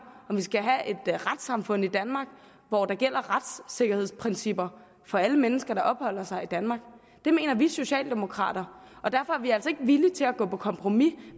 at retssamfund i danmark hvor der gælder retssikkerhedsprincipper for alle mennesker der opholder sig i danmark det mener vi socialdemokrater og derfor er vi altså ikke villige til at gå på kompromis